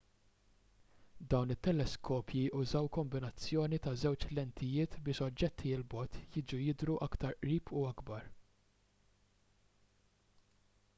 dawn it-teleskopji użaw kombinazzjoni ta' żewġ lentijiet biex oġġetti l bogħod jiġu jidhru aktar qrib u akbar